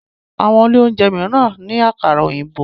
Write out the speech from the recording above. Àwọn ilé oúnjẹ míràn ní Àkàrà òyìnbó.